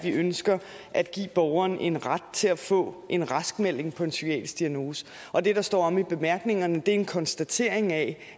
at vi ønsker at give borgerne en ret til at få en raskmelding på en psykiatrisk diagnose og det der står omme i bemærkningerne er en konstatering af